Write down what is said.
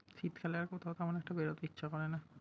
শীতকালে আর কোথাও তেমন একটা বেরোতে ইচ্ছা করে না।